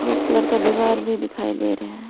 Colour का दीवार भी दिखाई दे रहे हैं।